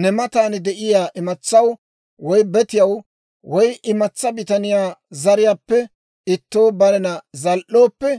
ne matan de'iyaa imatsaw woy betiyaw woy imatsaa bitaniyaa zariyaappe ittoo barena zal"ooppe,